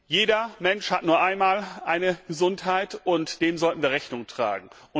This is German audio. Jeder Mensch hat nur einmal eine Gesundheit, und dem sollten wir Rechnung tragen!